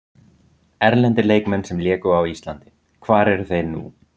Erlendir leikmenn sem léku á Íslandi Hvar eru þeir nú?